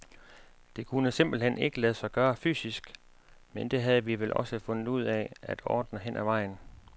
Det kunne simpelt hen ikke lade sig gøre fysisk, men det havde vi vel også fundet ud af at ordne hen ad vejen.